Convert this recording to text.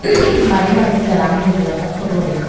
badi badi drum bojeyun ekkur guri.